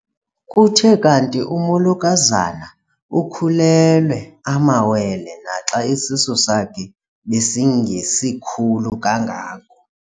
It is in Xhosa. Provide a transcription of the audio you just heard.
Kuthe kanti umolokazana ukhulelwe amawele naxa isisu sakhe besingesikhulu kangako.